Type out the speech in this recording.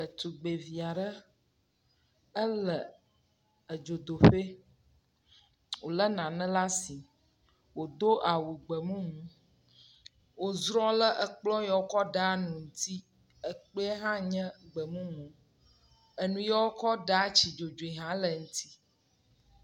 ɖetugbiviaɖe é le edzodoƒɛ wòle nane lasi wodó awu gbemumu wò zrɔ le ekplɔ yɔ wókɔ ɖa nu ŋti ekpiɛ hã nye gbemumu eniɔ wokɔ ɖa tsi dzodzi hã le nti